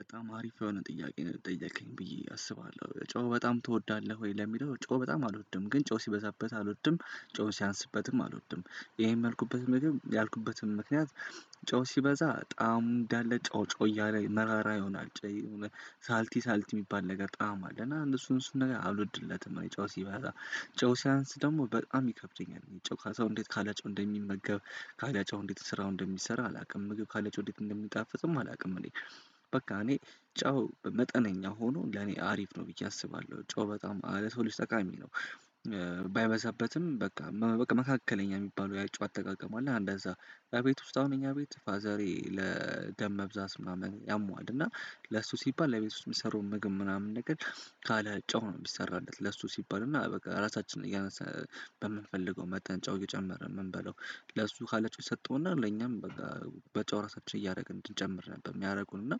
በጣም አሪፍ የሆነ ጥያቄ ነው የጠየከኝ ብዬ አስባለው ጨው በጣም ትወዳለህ ወይ? ለሚለው ጨው በጣም አልወድም ግን ጨው ሲበዛበት አልወድም ጨውን ሲያንስበትም አልወድም ይሄን ያልኩበትም ምግብ ያልኩበትም ምክንያት ጨው ሲበዛ ጣዕም እንዳለ ጨው ጨው እያለ መራራ ይሆናል ጨይ ሳልቲ ሳልቲ የሚባል ነገር ጣዕም አለ እና እነሱን እሱን ነገር አልወድለትም አይጨው ሲበዛ። ጨው ሲያንስ ደግሞ በጣም ይከብደኛል እኔ ጨው ሰው እንዴት ካልጨው እንደሚመገብ ካላጨው እንዴት ስራው እንደሚሰራ አላውቅም ምግብ ካላጨው እንዴት እንደሚጣፍጥም አላውቅም እኔ በቃ እኔ ጨው መጠነኛ ሆኖ ለኔ አሪፍ ነው ብዬ አስባለው ጨው በጣም ለሰው ልጅ ጠቃሚ ነው። ባይበዛበትም በቃ በቃ መካከለኛ የሚባለው የጨው አጠቃቀም አለ አንዳንድ እዛ በቤት ውስጥ አሁን እኛ ቤት ፋዛሬ ለደም መብዛት ምናምን ያሟል አና ለሱ ሲባል ለቤት ውስጥ የሚሰሩ ምግብ ምናምን ነገር ካለ ጨው ነው የሚሰራለት ለሱ ሲባል እና በቃ ራሳችንን በምንፈልገው መጠን ጨው እየጨመረ የምንበለው ለሱ ካለችው የሰጠውና ለኛም በጨው ራሳችን እያደረግን እንድንጨምር ነበር የሚያደርጉን እና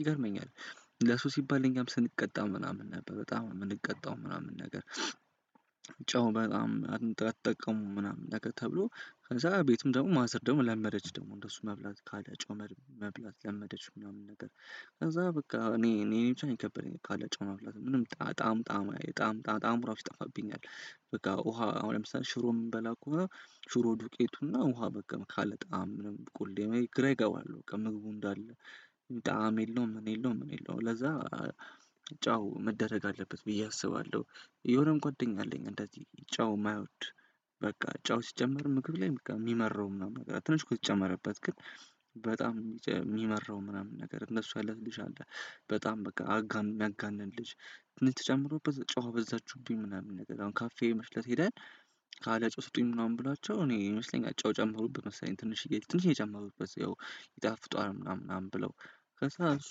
ይገርመኛል ለሱ ሲባል እኛም ስንቀጣ ምናምን ነበር በጣም የምንቀጣው ምናምን ነገር ጨው በጣም አትጠቀሙም ምናምን ተብሎ ከዛ ቤቱም ደግሞ ማዘር ደግሞ ለመጀች ደግሞ እንደሱ መብላት ካለ ጨው መብላት ለመደች ምናምን ነገር ከዛ በቃ እኔ እኔ እኔ ብቻ ከበደኝ ካለ ጨው መብላት። ምንም ጣም ጣም ጣም ጣም ጣዕም ራሱ ይጠፋብኛል በቃ ውሃ አሁን ለምሳሌ ሽሮ የምንበላ ከሆነ ሽሮ ዱቄቱና ውሃ በቃ ካለ ጣዕም ምንም ቁሌ ግራ ይገባል ከ ምግቡ እንዳለ ጣዕም የለውም ምን የለውም ምን የለውም ለዛ ጨው መደረግ አለበት ብዬ አስባለው የሆነም ጓደኛ አለኝ እንደዚህ ጨው የማይወድ በቃ ጨው ሲጨምር ምግብ ላይ በቃ የሚመረው ምናምን ትንሽ ከተጨመረበት ግን በጣም የሚመራው ምናምን ነገር እንደሱ አይነት ልጅ አለ በጣም በቃ ሚያጋንን ልጅ የሚጨምረው ተጨምሮ በዛ ጨው አበዛችሁብኝ ምናምን ነገር አሁን ካፌ መስለት ሄደን ካለ ጨው ስጡኝ ምናምን ብሏቸው እኔ ይመስለኛል እጨው ጨመሩበት መሰለኝ ትንሽዬ ትንሽዬ ጨምሩበት ያው ይጣፍጣል ምናምን ምናምን ብለው ከዛ እሱ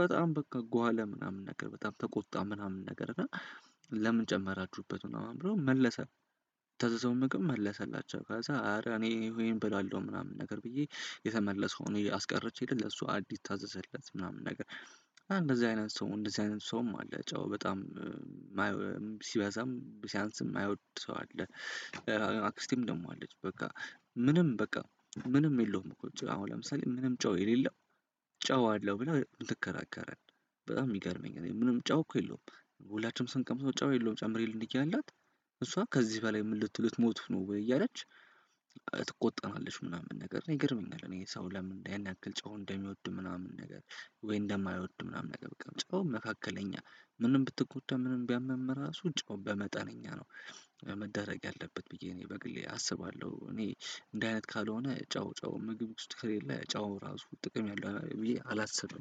በጣም በቃ ጓለ ምናምን ነገር በጣም ተቆጣ ምናምን ነገር እና ለምን ጨመራችሁበት ምናምን ብለው መለሰ። የታዘዘውን ምግብ መለሰላቸው ከዛ አረ እኔ አሄንን አብላለው ምናምን ነገር ብዬ የተመለሰው ነው። አስቀሪቼ የለም ለሱ አዲስ ታዘዘለት ምናምን ነገር እንደዚህ አይነት ሰው እንደዚህ አይነት ሰውም አለ ጨው በጣም ሲበዛም ሲያንስም የማይወድ ሰው አለ። አክስቴም ደግሞ አለች በቃ ምንም በቃ ምንም የለውም ቁጭ አሁን ለምሳሌ ምንም ጨው የሌለው ጨው አለው ብላ ትከራከራለህ በጣም የሚገርመኝ እኔ ምንም ጨው እኮ የለውም። ሁላችንም ሰንቀምሰው ጨው የለውም ጨምሪልን አያልናት እሷ ከዚህ በላይ ምን ልትሞቱ ነው ወይ እያለች ትቆጠናለች ምናምን ነገር ይገርመኛል እኔ ሰው ለምን እንዳያንክል ጨው እንደሚወድ ምናምን ነገር ወይ እንደማይወድ ምናምን ነገር በቃ ጨው መካከለኛ ምንም ብትቆጠብ ምንም ቢያምም ራሱ ጨው በመጠነኛ ነው። መደረግ ያለበት ብዬ እኔ በግሌ አስባለው እኔ እንዲህ አይነት ካልሆነ ጨው ጨው ምግብ ውስጥ ከሌለ ጨው ራሱ ጥቅም ያለው ብዬ አላስብ።